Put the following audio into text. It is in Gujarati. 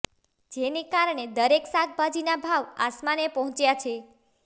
જેને કારણે દરેક શાકભાજીના ભાવ આસમાને પહોંચ્યા છે